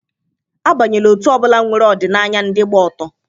Abanyela otu ọ bụla nwere ọdịnaya ndị gba ọtọ!